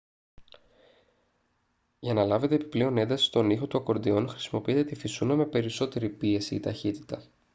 για να λάβετε επιπλέον ένταση στον ήχο του ακορντεόν χρησιμοποιείτε τη φυσούνα με περισσότερη πίεση ή ταχύτητα